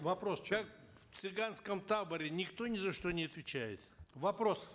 вопрос в чем как в цыганском таборе никто ни за что не отвечает вопрос